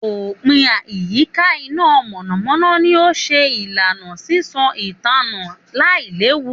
Òpìn ìyíká iná mọ̀nàmọ̀nà ni ó ṣe ìlànà sísan ìtànná lailewu